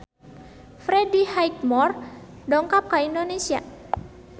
Freddie Highmore dongkap ka Indonesia